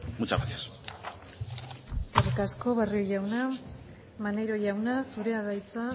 muchas gracias eskerrik asko barrio jauna maneiro jauna zurea da hitza